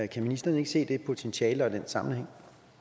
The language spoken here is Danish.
kan ministeren ikke se det potentiale og den sammenhæng